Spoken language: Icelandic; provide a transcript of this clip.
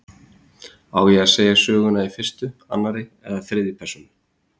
Á að segja söguna í fyrstu, annarri eða þriðju persónu?